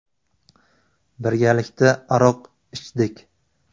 Birgalikda aroq ichdik.